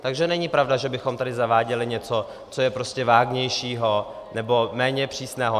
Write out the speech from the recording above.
Takže není pravda, že bychom tady zaváděli něco, co je prostě vágnější nebo méně přísné.